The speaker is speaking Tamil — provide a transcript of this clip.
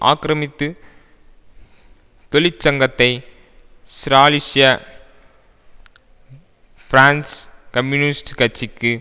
ஆக்கிரமித்து தொழிற்சங்கத்தை ஸ்ராலிஷ்ய பிரெஞ்சு கம்யூனிஸ்ட் கட்சிக்கு